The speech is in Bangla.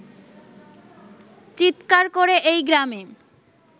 চিৎকার করে এই গ্রামে